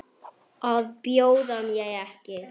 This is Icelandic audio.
Að bjóða mér ekki.